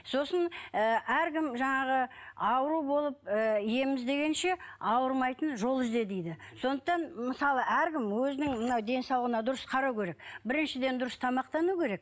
сосын ы әркім жаңағы ауру болып ы ем іздегенше ауырмайтын жол ізде дейді сондықтан мысалы әркім өзінің мына денсаулығына дұрыс қарау керек біріншіден дұрыс тамақтану керек